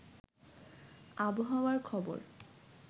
আবহাওয়ার খবর